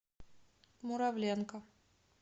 муравленко